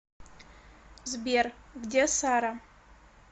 сбер где сара